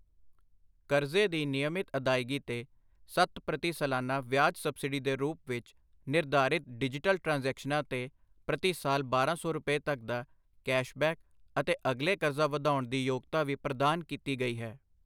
ਕਰਜ਼ੇ ਦੀ ਨਿਯਮਿਤ ਅਦਾਇਗੀ ਤੇ ਸੱਤ ਪ੍ਰਤੀ ਸਲਾਨਾ ਵਿਆਜ ਸਬਸਿਡੀ ਦੇ ਰੂਪ ਵਿੱਚ, ਨਿਰਧਾਰਿਤ ਡਿਜੀਟਲ ਟ੍ਰਾਂਜੈਕਸ਼ਨਾਂ ਤੇ ਪ੍ਰਤੀ ਸਾਲ ਬਾਰਾਂ ਸੌ ਰੁਪਏ ਤੱਕ ਦਾ ਕੈਸ਼ਬੈਕ ਅਤੇ ਅਗਲੇ ਕਰਜ਼ਾ ਵਧਾਉਣ ਦੀ ਯੋਗਤਾ ਵੀ ਪ੍ਰਦਾਨ ਕੀਤੀ ਗਈ ਹੈ।